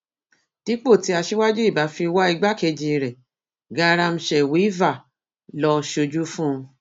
dípò tí aṣíwájú ibà fi wá igbákejì rẹ qaram shewilva lọ sójú fún un